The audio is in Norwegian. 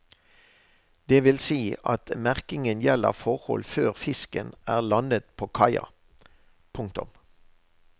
Det vil si at merkingen gjelder forhold før fisken er landet på kaia. punktum